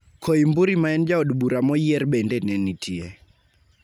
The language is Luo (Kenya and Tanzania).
Koimburi ma en jaod bura moyier bende ne nitie.